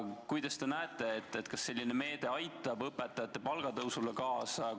Ja kuidas teie arvates selline meede aitab õpetajate palgatõusule kaasa?